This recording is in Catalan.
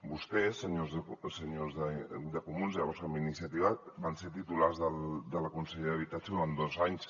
vostès senyors de comuns llavors amb iniciativa van ser titulars de la conselleria d’habitatge durant dos anys